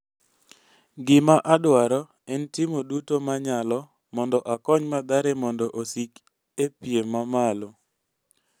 "Gima adwaro en timo duto manyalo mondo akony Mathare mondo osik e piem mamalo."